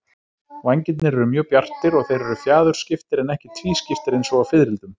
Vængirnir eru mjög bjartir og þeir eru fjaðurskiptir en ekki tvískiptir eins og á fiðrildum.